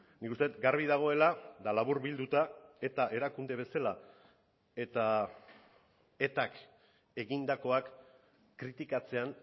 nik uste dut garbi dagoela eta laburbilduta eta erakunde bezala eta etak egindakoak kritikatzean